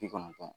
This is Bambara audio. Bi kɔnɔntɔn